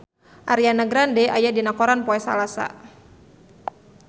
Ariana Grande aya dina koran poe Salasa